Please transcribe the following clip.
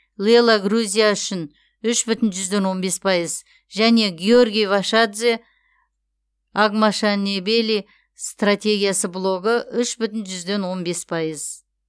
лело грузия үшін үш бүтін жүзден он бес пайыз және георгий вашадзе агмашенебели стратегиясы блогы үш бүтін жүзден он бес пайыз